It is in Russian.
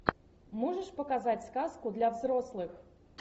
можешь показать сказку для взрослых